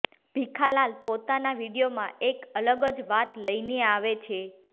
ભીખાલાલ પોતાના વીડિયોમાં એક અલગ જ વાત લઈને આવે છે